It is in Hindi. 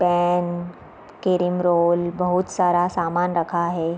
पैन क्रीम रोल बहुत सारा सामान रखा है |